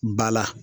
Ba la